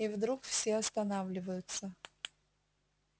и вдруг все останавливаются